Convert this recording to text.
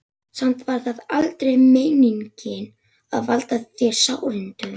Samt var það aldrei meiningin að valda þér sárindum.